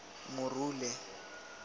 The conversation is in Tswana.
morule